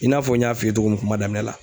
I n'a fɔ n y'a f'i ye cogo min kuma daminɛ na